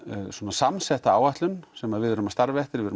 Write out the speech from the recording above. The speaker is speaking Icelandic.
samsetta áætlun sem við erum að starfa eftir við